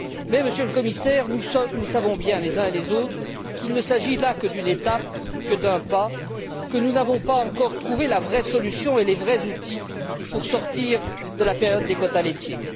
Mais, Monsieur le Commissaire, nous savons bien les uns et les autres qu'il ne s'agit là que d'une étape, que d'un pas, et que nous n'avons pas encore trouvé la vraie solution et les vrais outils pour sortir de la période des quotas laitiers.